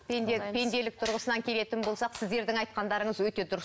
пенде пенделік тұрғысынан келетін болсақ сіздердің айтқандарыңыз өте дұрыс